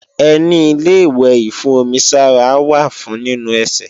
Ẹní Ilé-ìwẹ̀ ìfún-omi-sára wà fún nínu ẹsẹ̀